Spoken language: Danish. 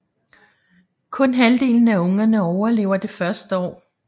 Kun halvdelen af ungerne overlever det første år